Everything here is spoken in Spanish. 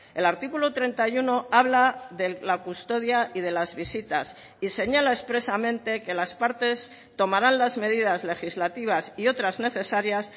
el artículo treinta y uno habla de la custodia y de las visitas y señala expresamente que las partes tomarán las medidas legislativas y otras necesarias